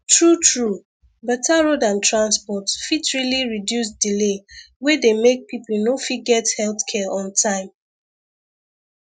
truetrue better road and transport fit really reduce delay wey dey make people no fit get health care on time